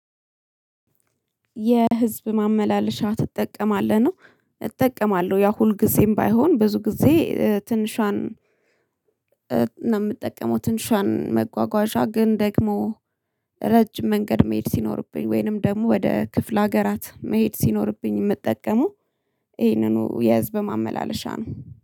የህዝብ ማመላለሻ ትጠቀማለህ? ነው እጠቀማለሁ ያው ሁልጊዜም ባይሆን ብዙ ጊዜ ትንሿን የምጠቀመው ትንሿን መጓጓዣ ግን ደግሞ ረጅም መንገድ መሄድ ሲኖርብኝ ወይንም ደግሞ ወደ ክፍለ ሀገራት መሄድ ሲኖርብኝ የምጠቀመው ይሄንኑ የህዝብ ማመላለሻ ነው።